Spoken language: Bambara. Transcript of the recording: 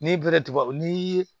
N'i bere tubabu n'i ye